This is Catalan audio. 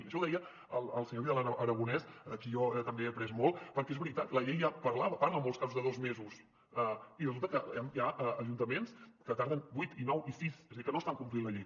això ho deia el senyor vidal aragonés de qui jo també he après molt perquè és veritat la llei ja parla en molts casos de dos mesos i resulta que hi ha ajuntaments que en tarden vuit i nou i sis és a dir que no estan complint la llei